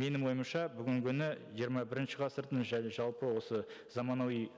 менің ойымша бүгінгі күні жиырма бірінші ғасырдың және жалпы осы заманауи і